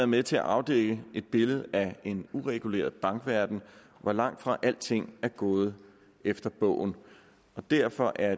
med til at afdække et billede af en ureguleret bankverden hvor langtfra alting er gået efter bogen derfor er